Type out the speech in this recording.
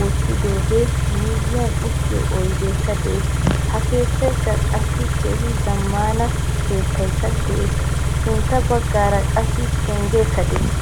wottidoga miyiyanuttiyo oydekka de'ees. Ha keettaykka qassikka keehin zammana keettaykka de'ees. Sintta baggaara qassi penggekka de'ees.